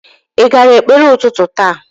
Ị gara ekpere ụtụtụ taa?